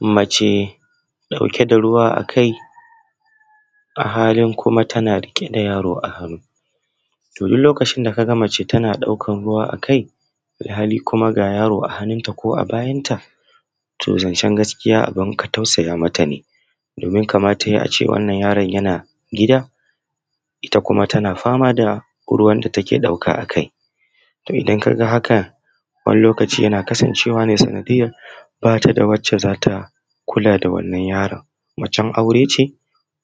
Mace da ɗauke da ruwa a kai a halin kuma tana ɗauke da yaro a hannu. To, duk lokacin da ka ga mace tana ɗauka ruwa a kai alhali kuma ga yaro a hannunta ko a bayanta to zancen gaskiya abun ka tausaya mata ne, domin kamata ya yi a ce wannan yaron yana gida, ita kuma tana fama da ruwan da take ɗauka a kai. To, idan ka ga haka wannan lokaci yana kasancewa ne sanadiyan ba ta da wanda za ta kula da wanan yaron, macen aure ce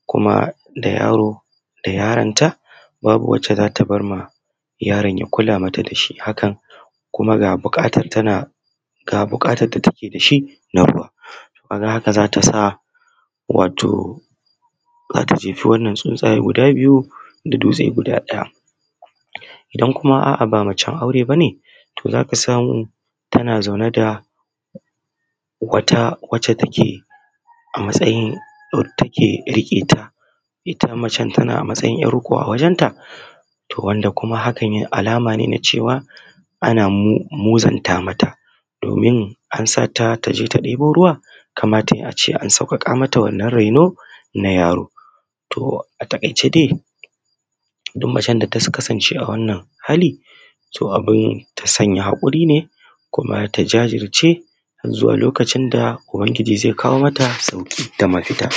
kuma da yaro da yaronta babu wacce za ta bar ma yaron ta kula ta da shi haka kuma ga buƙatar da take da shi na ruwa ka ga haka za ta sa wato za ta jefa wannan tsintsaya guda biyu da dutse guda ɗaya. Idan kuma a’a ba macen aure ba ne to za ka samu tana zaune da wata wacce take a matsayin wadda take riƙe ta, ita acen tana matsayin ‘yar riƙo a wajen ta to wanda kuma hakan alama ne ta cewa ana muzunta mata domin an sata ta je ta ɗibo ruwa kamata ya yi a ce an sauƙaƙa mata wannan raino na yaro. To, a taƙaice dai duk macen da ta kasance awannan hali to abun ta sanya haƙurine kuma ta jazirce zuwa lokacin da uban giji ze kawo mata ɗauki da mafita.